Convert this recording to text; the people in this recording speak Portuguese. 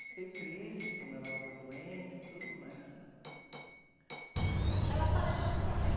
Fiquei triste quando ela ficou doente e tudo, mas... Fiz um...la, ela faleceu com noventa